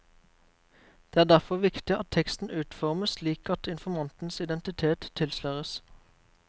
Det er derfor viktig at teksten utformes slik at informantens identitiet tilsløres.